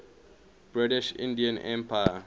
british indian empire